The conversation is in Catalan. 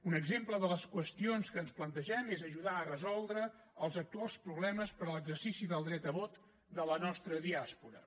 un exemple de les qüestions que ens plantegem és ajudar a resoldre els actuals problemes per a l’exercici del dret a vot de la nostra diàspora